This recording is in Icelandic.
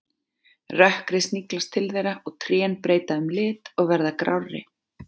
Rökkrið sniglast til þeirra og trén breyta um lit og verða grárri.